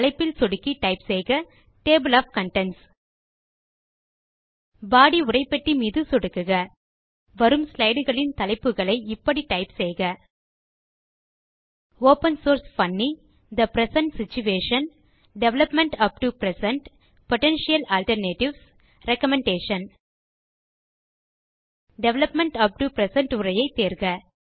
தலைப்பில் சொடுக்கி டைப் செய்க டேபிள் ஒஃப் கன்டென்ட்ஸ் பாடி உரைப்பெட்டி மீது சொடுக்குக வரும் ஸ்லைடு களின் தலைப்புகளை இப்படி டைப் செய்க ஒப்பன் சோர்ஸ் பன்னி the present situation development up to present potential alternatives recommendation development up to present உரையை தேர்க